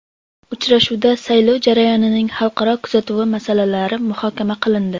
Uchrashuvda saylov jarayonining xalqaro kuzatuvi masalalari muhokama qilindi.